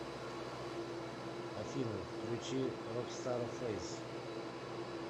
афина включи рок стар фэйс